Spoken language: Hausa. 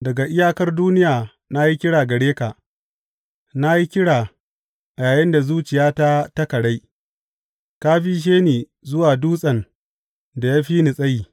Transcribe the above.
Daga iyakar duniya na yi kira gare ka, na yi kira yayinda zuciyata ta karai; ka bishe ni zuwa dutsen da ya fi ni tsayi.